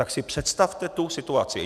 Tak si představte tu situaci.